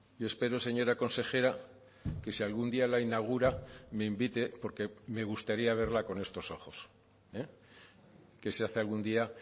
yo espero señora consejera que si algún día la inaugura me invite porque me gustaría verla con estos ojos que se hace algún día